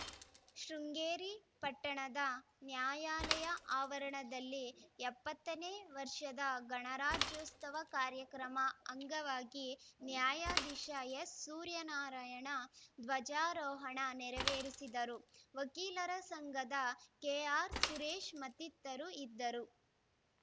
ಶೃಂಗೇರಿ ಪಟ್ಟಣದ ನ್ಯಾಯಾಲಯ ಆವರಣದಲ್ಲಿ ಎಪ್ಪತ್ತ ನೇ ವರ್ಷದ ಗಣರಾಜ್ಯೋತ್ಸವ ಕಾರ್ಯಕ್ರಮ ಅಂಗವಾಗಿ ನ್ಯಾಯಧೀಶ ಎಸ್‌ ಸೂರ್ಯನಾರಾಯಣ ಧ್ವಜಾರೋಹಣ ನೆರವೇರಿಸಿದರು ವಕೀಲರ ಸಂಘದ ಕೆಆರ್‌ಸುರೇಶ್‌ ಮತ್ತಿತರರು ಇದ್ದರು